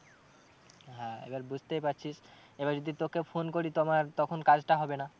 হ্যাঁ, এবার বুঝতেই পারছিস এবার যদি তোকে phone করি তো আমার তখন কাজটা হবে না।